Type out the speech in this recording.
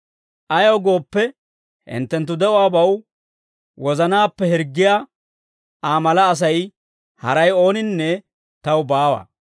Ayaw gooppe, hinttenttu de'uwaabaw wozanaappe hirggiyaa Aa mala Asay haray ooninne taw baawa.